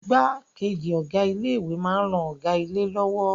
Igbákejì Ọ̀gá ilé ìwé máa ń ran Ọ̀gá ilé lọ́wọ́